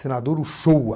Senador Ushua.